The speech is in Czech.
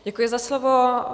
Děkuji za slovo.